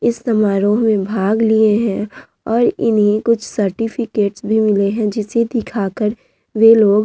इस समारोह मे भाग लिए है और इन्हे कुछ सार्टिफिकेट मिले है जिसे दिखाकर वे लोग--